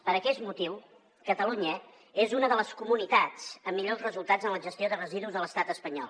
per aquest motiu catalunya és una de les comunitats amb millors resultats en la gestió de residus de l’estat espanyol